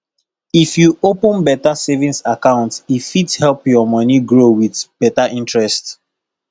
if you open beta savings account e fit help your moni grow with beta interest